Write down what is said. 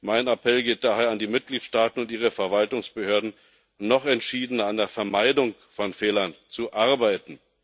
Mein Appell geht daher an die Mitgliedstaaten und ihre Verwaltungsbehörden, noch entschiedener an der Vermeidung von Fehlern zu arbeiten.